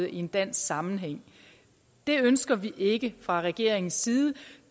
i en dansk sammenhæng det ønsker vi ikke fra regeringens side